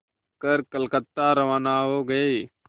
कर कलकत्ता रवाना हो गए